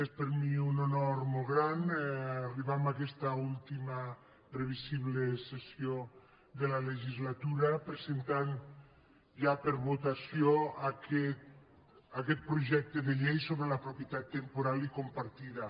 és per mi un honor molt gran arribar a aquesta última previsible sessió de la legislatura presentant ja per a votació aquest projecte de llei sobre la propietat temporal i compartida